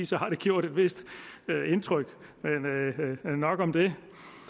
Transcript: så har det gjort et vist indtryk men nok om det